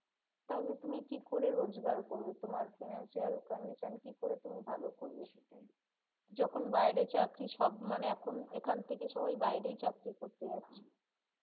তাহলে তুমি কি করে রোজগার করবে তোমার financial condition কি করে তুমি ভালো করবে সেটাই যখন বাইরে চাকরি সব মানে এখন এখান থেকে সবাই বাইরে চাকরি করতে যাচ্ছে